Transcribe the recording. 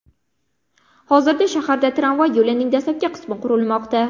Hozirda shaharda tramvay yo‘lining dastlabki qismi qurilmoqda .